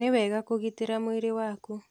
Nĩ wega Kũgĩtĩra mwĩrĩ waku.